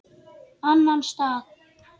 Annan stað?